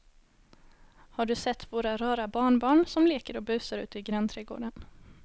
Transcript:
Har du sett våra rara barnbarn som leker och busar ute i grannträdgården!